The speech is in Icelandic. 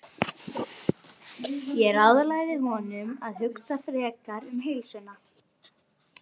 Ég ráðlagði honum að hugsa frekar um heilsuna.